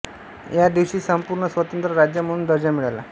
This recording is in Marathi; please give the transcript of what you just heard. या दिवशी संपूर्ण स्वतंत्र राज्य म्हणून दर्जा मिळाला